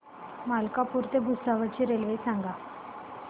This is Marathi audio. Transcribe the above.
मलकापूर ते भुसावळ ची रेल्वे सांगा